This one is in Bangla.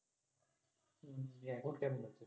হল